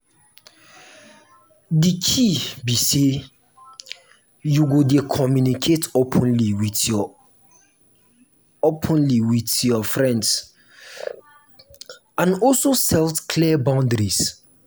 di key be say you go dey communicate openly with your openly with your friends and also set clear boundaries.